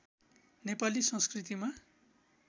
नेपाली संस्कृतिमा